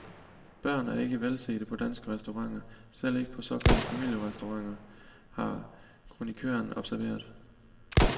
Børn er ikke velsete på danske restauranter, selv ikke på såkaldte familierestauranter, har kronikøren observeret.